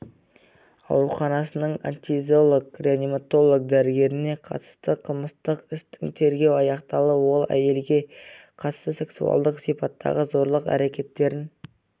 ауруханасының анестезиолог-реаниматолог дәрігеріне қатысты қылмыстық істің тергеуі аяқталды ол әйелге қатысты сексуалдық сипаттағы зорлық әрекеттерін